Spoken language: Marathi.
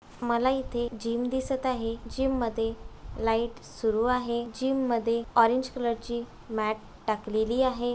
मला इथे जीम दिसत आहे जीम मध्ये लाइट सुरू आहे जीम मध्ये ऑरेंज कलर ची मॅट टाकलेली आहे.